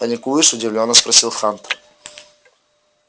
паникуешь удивлённо спросил хантер